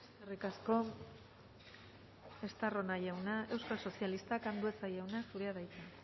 eskerrik asko estarrona jauna euskal sozialistak andueza jauna zurea da hitza